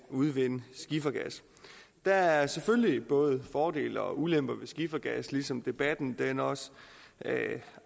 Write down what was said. at udvinde skifergas der er selvfølgelig både fordele og ulemper ved skifergas ligesom debatten også